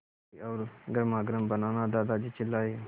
मीठी और गर्मागर्म बनाना दादाजी चिल्लाए